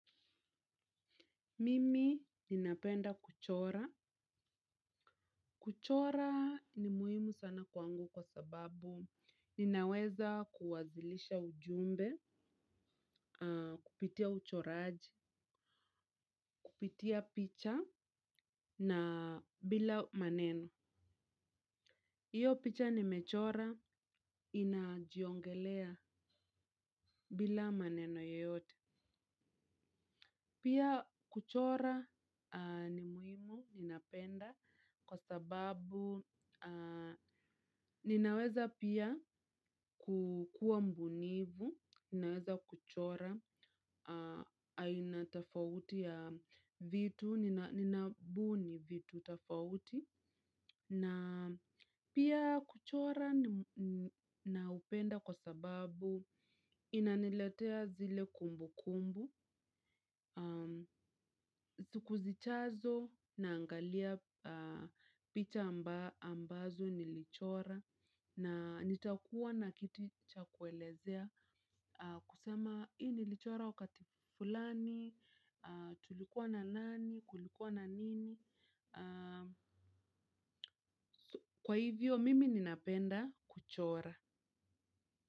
Mimi ninapenda kuchora. Kuchora ni muhimu sana kwangu kwa sababu ninaweza kuwasilisha ujumbe, kupitia uchoraji, kupitia picha na bila maneno. Iyo picha nimechora inajiongelea bila maneno yoyote. Pia kuchora ni muhimu, ninapenda kwa sababu ninaweza pia kuwa mbunifu ninaweza kuchora aina tofauti ya vitu, ninabuni vitu tofauti. Na pia kuchora naupenda kwa sababu inaniletea zile kumbukumbu. Siku zijazo naangalia picha ambazo nilichora. Na nitakuwa na kitu cha kuelezea kusema hii nilichora wakati fulani, tulikuwa na nani, kulikuwa na nini. Kwa hivyo mimi ninapenda kuchora.